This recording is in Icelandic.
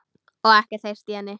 Og ekkert heyrt í henni?